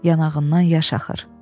Yanağından yaş axır.